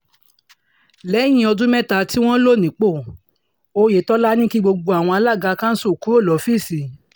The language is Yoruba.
lẹ́yìn ọdún mẹ́ta tí wọ́n lò nípò oyetola ní kí gbogbo àwọn alága kansù kúrò lọ́fíìsì